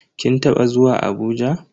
Kin taba zuwa Abuja?